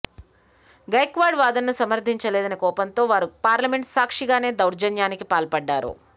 గైక్వాడ్ వాదనను సమర్థించలేదని కోపంతో వారు పార్లమెంటు సాక్షిగానే దౌర్జన్యానికి పాల్పడ్డారు